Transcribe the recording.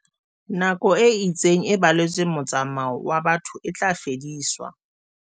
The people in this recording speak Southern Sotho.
Nako e itseng e baletsweng motsa-mao wa batho e tla fediswa.